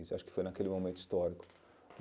Isso acho que foi naquele momento histórico.